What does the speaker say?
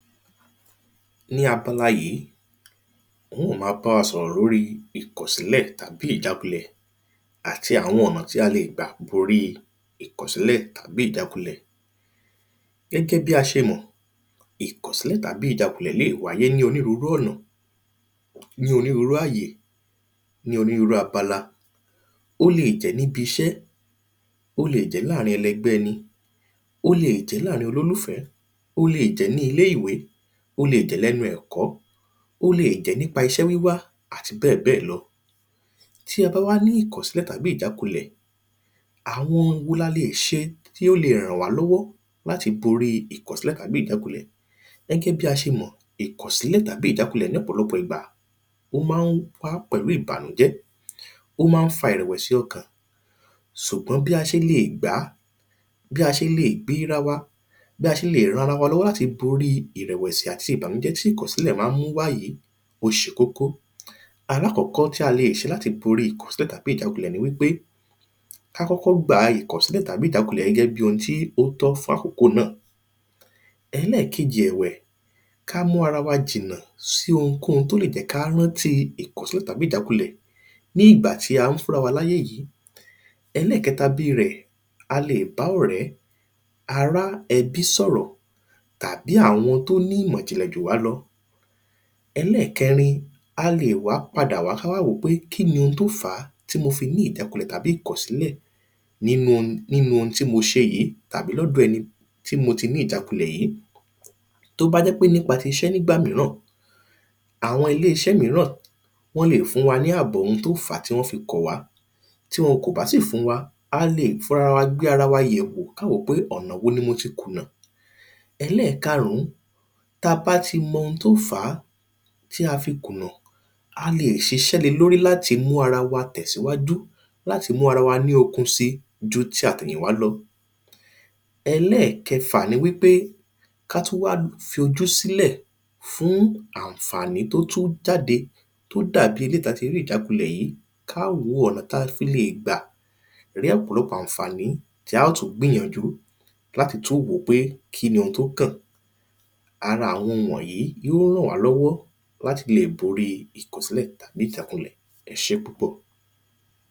Ní abala yìí ún ó má bá wa sọ̀rọ̀ lórí ìkọ̀sílẹ̀ tàbí ìjá ìjákúlẹ̀ àti àwọn ọ̀nà tí a lè gbà borí ìkọ̀sílẹ̀ tàbí ìjákulẹ̀. Gẹ́gẹ́ bí a ṣe mọ̀ ìkọ̀sílẹ̀ tàbí ìjákulẹ̀ lè wáyé ní onírúrú ọ̀nà ní onírúrú ọ̀nà ní onírúrú abala ó lè jẹ́ níbiṣẹ́ ó lè jẹ́ láàrin ẹlẹgbẹ́ ẹni ó le jẹ́ láàrin olólùfẹ̀ẹ́ ó le jẹ́ ní ilé ìwé ó le jẹ́ lẹ́nu ẹ̀kọ́ ó le jé nípa iṣẹ́ wíwá àti bẹ́ẹ̀ bẹ́ẹ̀ lọ. Tí a bá wá ní ìkọ̀sílẹ̀ tàbí ìjákúlẹ̀ àwọn wo la le ṣe tí ó le ràn wá lọ́wọ́ láti borí ìkọ̀sílẹ̀ tàbí ìjákulẹ̀. Gẹ́gẹ́ bí a ṣe mọ̀ ìkọ̀sílẹ̀ tàbí ìjákulẹ̀ ní ọ̀pọ̀lọpọ̀ ìgbà ó má ń wá pẹ̀lú ìbànújẹ́ ó má ń fa ìrẹ̀wẹ̀sì ọkàn ṣùgbọ́n bí a ṣe le gbàá bí a ṣe le gbéra wa bí a ṣe le ran ra wa lọ́wọ́ láti borí ìrẹ̀wẹ̀sì àti ìbànújé tí ìkọ̀sílẹ̀ má ń mú wá yìí ó ṣe kókó. Alákọ́kọ́ tí a lè ṣe láti borí ìkọ̀sílẹ̀ tàbí ìjákulẹ̀ ni wípé ká kọ́kọ́ gba ìkọ̀sílẹ̀ tàbí ìjákulẹ̀ gẹ́gẹ́ bí ohun tó tọ́ fákòókò náà. Ẹlẹ́ẹ̀kejì ẹ̀wẹ̀ ká múra wa jìnà sí ohunkóhun tó lè jẹ́ ká rántí ìkọ̀sílẹ̀ tàbí ìjákulẹ̀ ní ìgbà tí a ń fúnra wa láyè yìí. Ẹlẹ́kẹta bírẹ̀ a le bá ọ̀rẹ́ ará ẹbí sọ̀rọ̀ tàbí àwọn tó nímọ̀jìnlẹ̀ jù wá lọ Ẹlẹ́ẹ̀kẹrin a le wá padà wá pé kini ohun tó fàá tí mo fi ní ìjákulẹ̀ tàbí ìkọ̀sílẹ̀ nínú ohun nínú ohun tí mo ṣe yìí tàbí lọ́dọ̀ ẹni tí mo ti ní ìjákulẹ̀ yìí. Tó bá jẹ́ pé nípa ti iṣẹ́ nígbà míràn àwọn ilé iṣẹ́ míràn wọ́n le fún wa ní àbọ̀ ohun tó fàá tí wọ́n fi kọ̀ wá tí wọn kò bá sì fún wa a le fúnra ra wa gbé ara wa yẹ̀wó ká wò pé ọ̀nà wo ni mo ti kùnà. Ẹlẹ́ẹ̀karùn tá bá ti mọ ohun tó fàá tí a fi kùnà a le ṣiṣẹ́ lé lórí láti mú ara wa tẹ̀síwájú láti mú ara wa ní okun sí ju ti àtẹ̀yìn wá lọ. Ẹlẹ́ẹ̀kẹfà ni wípé ká tún wá fojú sílẹ̀ fún ànfàní tó tún jáde tó dàbí eléèyí tá ti rí ìjákulẹ̀ yìí ká wo ọ̀nà tá fi lè gbà ní òpọ̀lọpọ̀ ànfàní tí á ó tṹ gbìyànjú láti tún wòó pé kíni ohun tó kàn. Ara àwọn wọ̀nyìí yó ràn wá lọ́wọ́ láti le borí ìkọ̀sílẹ̀ tàbí ìjákulẹ̀ ẹṣé púpọ̀.